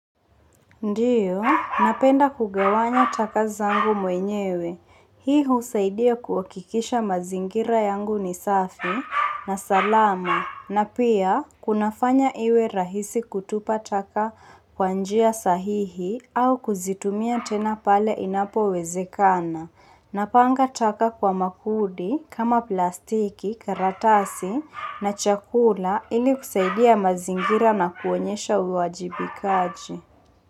Ndiyo, napenda kugawanya takazangu mwenyewe. Hii husaidia kuwakikisha mazingira yangu ni safi na salama. Na pia, kunafanya iwe rahisi kutupa taka kwanjia sahihi au kuzitumia tena pale inapo wezekana. Napanga taka kwa makundi, kama plastiki, karatasi na chakula ili kusaidia mazingira na kuonyesha uwajibikaji.